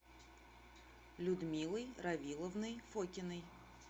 людмилой равиловной фокиной